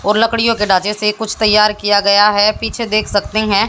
और लकड़ियों के ढांचे से कुछ तैयार किया गया है पीछे देख सकते हैं।